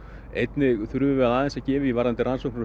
einnig þurfum við aðeins að gefa í varðandi rannsóknir á